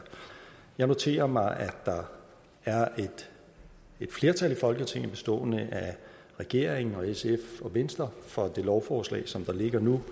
jeg noterer mig at der er et flertal i folketinget bestående af regeringen og sf og venstre for det lovforslag som der ligger nu